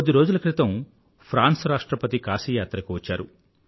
కొద్ది రోజుల క్రితం ఫ్రాన్స్ రాష్ట్రపతి కాశీయాత్రకు వచ్చారు